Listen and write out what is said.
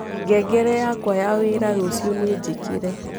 ngengere yakwa ya wĩra ruciu ninjikire